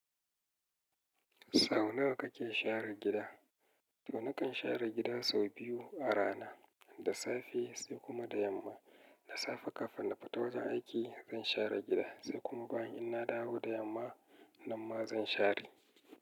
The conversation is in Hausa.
Sau nawa kake share gida? To nakan share gida sau biyu a rana, da safe sai kuma da yamma. Da safe kafin na fito wajen aiki zan share gida, sai kuma bayan ina dawo da yamma, nan ma zan share.